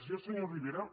jo senyor rivera